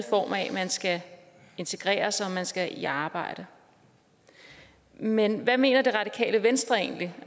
form af at man skal integrere sig og man skal i arbejde men hvad mener det radikale venstre egentlig